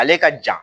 Ale ka jan